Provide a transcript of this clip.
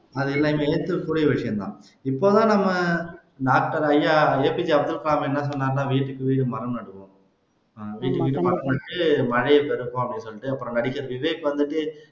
இப்ப தான் நம்ம doctor ஐயா A P J Abdul Kalam என்ன சொன்னார்னா வீட்டுக்கு வீடு மரம் நடுவோம் வீட்டுக்கு வீடு மரம் நட்டு மழையை பெறுவோம் அப்படின்னு சொல்லிட்டு அப்புறம் நடிகர் விவேக் வந்துட்டு